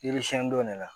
Yiri siɲɛnni don ne la